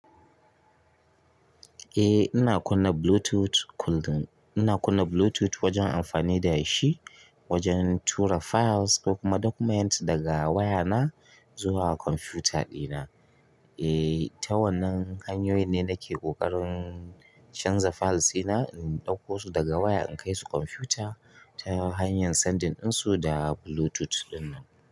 Eh ina kunna bluetooth wajen amfaani dashi wajen tura files ko kuma documents zuwa computer dina ta wannan hanyoyin ne nake ƙoƙarin. Canza files ina in ɗauko su daga waya in kai su computer ta hanyar sending ɗinsu da Bluetooth ɗinnan.